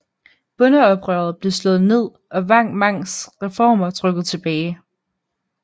Bondeoprøret blev slået ned og Wang Mangs reformer trukket tillbage